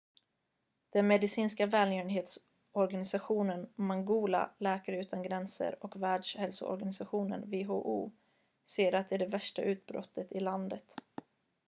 den medicinska välgörenhetsorganisatonen mangola läkare utan gränser och världshälsoorganisationen who säger att det är det värsta utbrottet i landet